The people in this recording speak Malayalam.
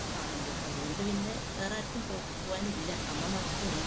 കാണുമ്പോ. അതുകൊണ്ടുപിന്നെ വേറാർക്കും പോകാനില്ല. അമ്മമാത്രേയുള്ളു.